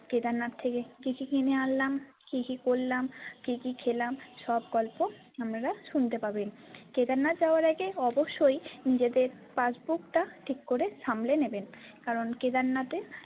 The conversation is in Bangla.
কেদারনাথ থেকে কি কি কিনে আনলাম কি কি করলাম কি কি খেলাম সব গল্প আপনারা শুনতে পাবেন কেদারনাথ যাবার আগে অবশ্যই নিজেদের passport টা ঠিক করে সামলে নেবেন কারন কেদারনাথে।